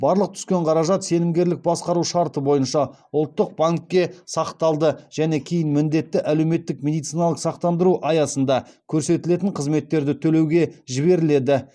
барлық түскен қаражат сенімгерлік басқару шарты бойынша ұлттық банкке сақталады және кейін міндетті әлеуметтік медициналық сақтандыру аясында көрсетілетін қызметтерді төлеуге жіберіледі